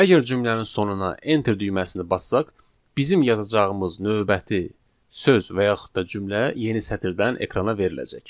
Əgər cümlənin sonuna enter düyməsini bassaq, bizim yazacağımız növbəti söz və yaxud da cümlə yeni sətirdən ekrana veriləcək.